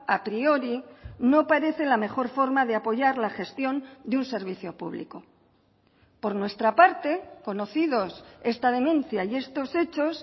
a priori no parece la mejor forma de apoyar la gestión de un servicio público por nuestra parte conocidos esta denuncia y estos hechos